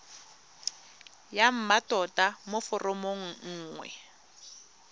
ya mmatota mo foromong nngwe